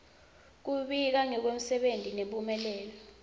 kubika ngemsebenti nemphumelelo